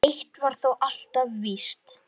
Eitt var þó alltaf víst.